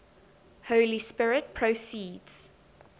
holy spirit proceeds